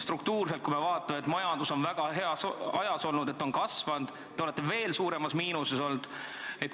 Struktuurselt, kui me vaatame, et majandus on väga heas ajas olnud ja kasvanud, olete te olnud veel suuremas miinuses.